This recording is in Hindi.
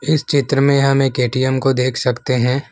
इस चित्र में हम एक ए_टी_एम को देख सकते हैं।